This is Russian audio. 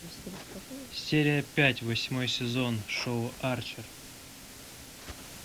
серия пять восьмой сезон шоу арчер